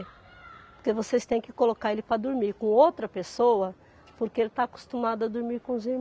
Porque vocês têm que colocar ele para dormir com outra pessoa, porque ele está acostumado a dormir com os